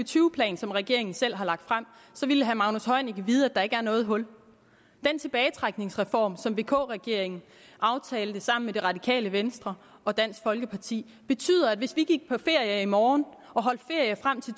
tyve plan som regeringen selv har lagt frem ville herre magnus heunicke vide at der ikke er noget hul den tilbagetrækningsreform som vk regeringen aftalte sammen med det radikale venstre og dansk folkeparti betyder at hvis vi gik på ferie i morgen og holdt ferie frem til